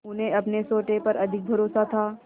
उन्हें अपने सोटे पर अधिक भरोसा था